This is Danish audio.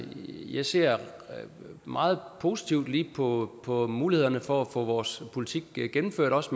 jeg ser meget positivt på på mulighederne for at få vores politik gennemført også